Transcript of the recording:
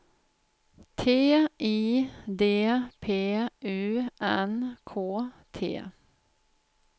T I D P U N K T